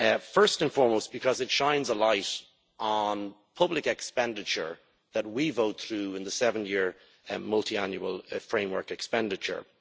First and foremost, because it shines a light on public expenditure that we vote through in the seven year multiannual framework expenditure.